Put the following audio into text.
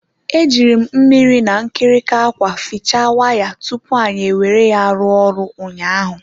Eji m mmiri na nkirika akwa fiche wire tupu anyi were ya rụọ ọrụ ụnyaahụ.